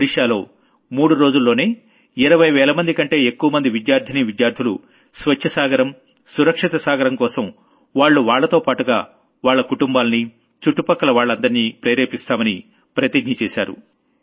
ఒడిషాలో మూడు రోజుల్లోనే 20 వేలమంది కంటే ఎక్కువ మంది విద్యార్థినీ విద్యార్థులు స్వచ్ఛమైన సాగరం సురక్షితమైన సాగరం కోసం వాళ్లు వాళ్లతోపాటుగా వాళ్ల కుటుంబాల్ని చుట్టుపక్కల వాళ్లనందర్నీ ప్రేరేపిస్తామని ప్రతిజ్ఞ చేశారు